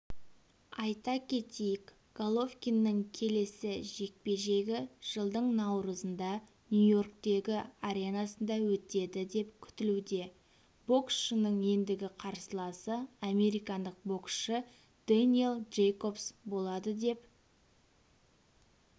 айта кетейік головкиннің келесі жекпе-жегі жылдың наурызында нью-йорктегі аренасында өтеді деп күтілуде боксшының ендігі қарсыласы американдық боксшы дэниел джейкобс болады деп